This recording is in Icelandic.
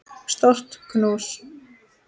Stórt knús.